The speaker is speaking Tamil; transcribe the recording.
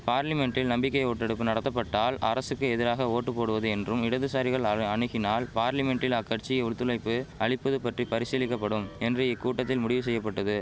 பார்லிமென்ட்டில் நம்பிக்கை ஓட்டெடுப்பு நடத்தப்பட்டால் அரசுக்கு எதிராக ஓட்டு போடுவது என்றும் இடதுசாரிகள் அழ அணுகினால் பார்லிமென்ட்டில் அக்கட்சி ஒத்துழைப்பு அளிப்பது பற்றி பரிசீலிக்கபடும் என்று இக்கூட்டத்தில் முடிவு செய்யபட்டது